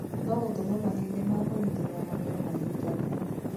No gũtũme mahĩndĩ ma kũnyitĩrĩra magego mahingane.